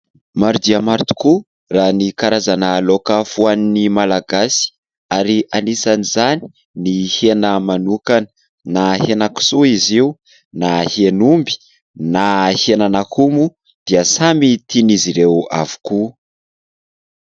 Maro dia maro tokoa raha ny karazana loaka foanin'ny Malagasy, ary anisan'izany ny hena manokana na hena kisoa izy io na hen'omby na henan'akoho moa dia samy tian'izy ireo avokoa.